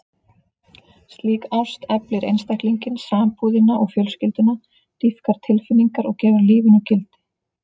Slík ást eflir einstaklinginn, sambúðina og fjölskylduna, dýpkar tilfinningar og gefur lífinu gildi.